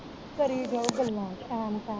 ਕਰੀ ਜਾਓ ਗੱਲਾਂ ਸ਼ਾਮ